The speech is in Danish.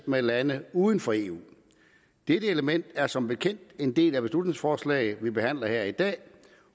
med lande uden for eu dette element er som bekendt en del af beslutningsforslaget vi behandler her i dag